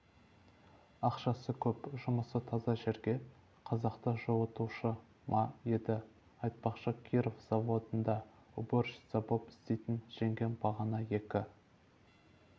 ақшасы көп жұмысы таза жерге қазақты жуытушы ма еді айтпақшы киров заводында уборщица боп істейтн жеңгем бағана екі